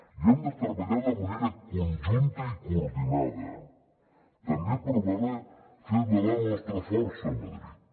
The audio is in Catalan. i hem de treballar de manera conjunta i coordinada també per fer valer la nostra força a madrid